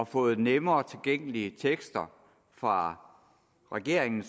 fået lettere tilgængelige tekster fra regeringen